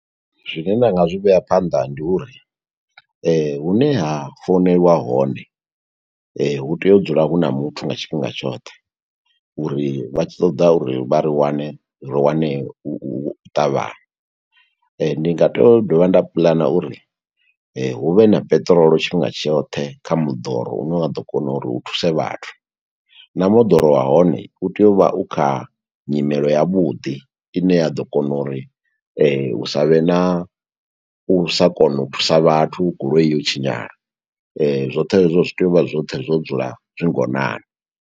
Zwine nda nga zwi vhea phanḓa, ndi uri hune ha foneliwa hone, hu tea u dzula hu na muthu nga tshifhinga tshoṱhe, uri vha tshi ṱoḓa uri vha ri wane, ri wanee u ṱavhanya. Ndi nga tea u dovha nda puḽana uri hu vhe na peṱirolo tshifhinga tshoṱhe, kha moḓoro une wa ḓo kona uri u thuse vhathu, na moḓoro wa hone, u tea u vha u kha nyimelo yavhuḓi. I ne ya ḓo kona uri hu sa vhe na u sa kona u thusa vhathu, goloi yo tshinyala. Zwoṱhe hezwo zwi tea u vha zwoṱhe zwo dzula zwi ngonani.